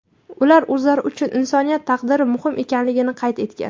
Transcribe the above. Ular o‘zlari uchun insoniyat taqdiri muhim ekanligini qayd etgan.